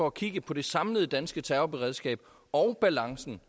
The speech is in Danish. at kigge på det samlede danske terrorberedskab og balancen